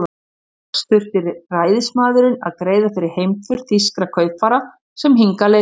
Loks þurfti ræðismaðurinn að greiða fyrir heimför þýskra kaupfara, sem hingað leituðu.